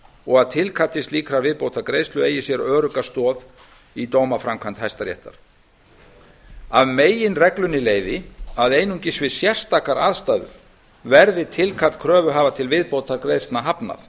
og að tilkalli slíkrar viðbótargreiðslu eigi sér örugga stoð í dómaframkvæmd hæstaréttar af meginreglunni leiði að einungis við sérstakar aðstæður verði tilkalli kröfuhafa um viðbótargreiðslu hafnað